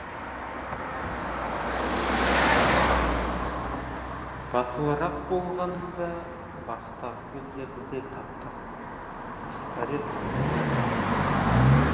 батылырақ болғанымда бақтағы гүлдерді де таптап тастар едім